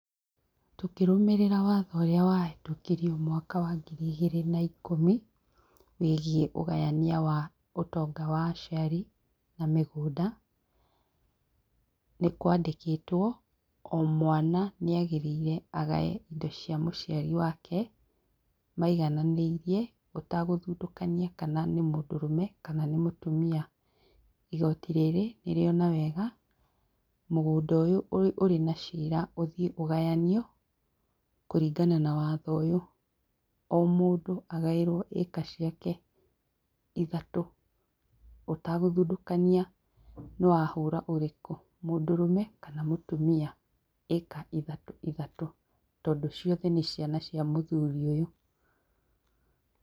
Tũkĩrũmĩrĩra watho ũrĩa wahĩtũkirio mwaka wa ngiri igĩrĩ na ikũmi wĩgĩe ũgayania wa ũtonga wa aciari na mĩgũnda ,nĩkwandĩkĩtwo o mwana nĩ nĩagĩrĩire agae indo cia mũciari wake maigananĩirie ũtagũthutũkania kana nĩ mũndũrũme kana nĩ mũtumia. Igoti rĩrĩ nĩrĩona wega mũgũnda ũyũ ũrĩ na cira ũthie ũgayanio kũringana na watho ũyũ o mũndũ agaĩrwo ĩka ciake ithatu ũtagũthutũkania nĩ wa hũra ũrĩkũ, mũndũrũme kana mũtumia ĩka ithatũ ithatũ tondũ ciothe nĩ ciana cĩa mũthũri ũyũ.